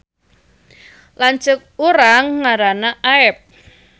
Lanceuk urang ngaranna Aep